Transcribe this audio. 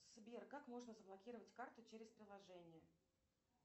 сбер как можно заблокировать карту через приложение